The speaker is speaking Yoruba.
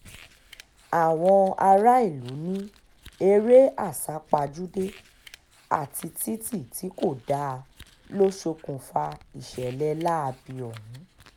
àwọn aráàlú ní eré àsápajúdé àti títí tí kò dáa ló ṣokùnfà ìṣẹ̀lẹ̀ láabi ọ̀hún